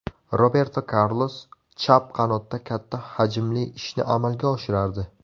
Roberto Karlos chap qanotda katta hajmli ishni amalga oshirardi.